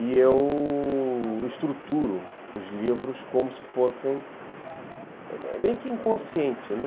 E eu... estruturo os livros como se fossem... É meio que inconsciente, né?